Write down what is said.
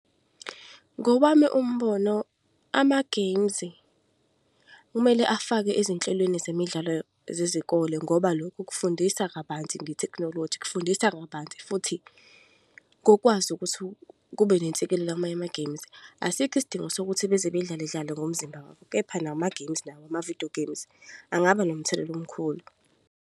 Ngowami umbono, ama-games kumele afake ezinhlelweni zemidlalo zezikole ngoba lokhu kufundisa kabanzi nge-technology. Kufundisa kabanzi futhi ngokwazi ukuthi kube amanye ama-games. Asikho isidingo sokuthi beze bedlaledlale ngomzimba, kepha nama-games nawo ama-video games angaba nomthelela omkhulu.